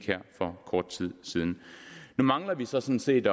her for kort tid siden nu mangler vi sådan set